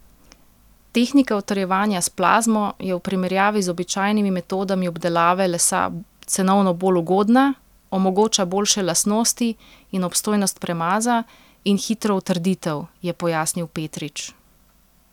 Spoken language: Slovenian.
Tehnika utrjevanja s plazmo je v primerjavi z običajnimi metodami obdelave lesa cenovno bolj ugodna, omogoča boljše lastnosti in obstojnost premaza in hitro utrditev, je pojasnil Petrič.